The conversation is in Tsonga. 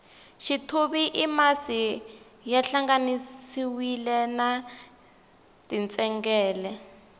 xithuvi i masi ya hlanganisiwile na tintsengele